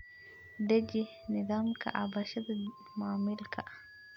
Deji nidaamka cabashada macmiilka.